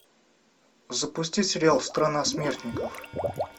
запусти сериал страна смертников